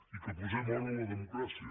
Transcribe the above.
i que posem hora a la democràcia